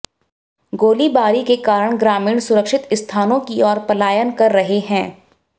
गोलीबारी के कारण ग्रामीण सुरक्षित स्थानों की ओर पलायन कर रहे हैं